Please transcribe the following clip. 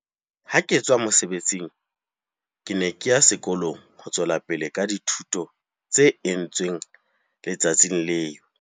Ha ke tswa mosebetsing, ke ne ke ya sekolong ho tswela pele ka dithuto tse entsweng le tsatsing leo.